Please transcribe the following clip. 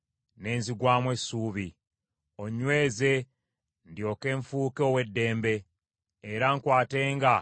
Onnyweze ndyoke nfuuke ow’eddembe, era nkwatenga ebiragiro byo bulijjo.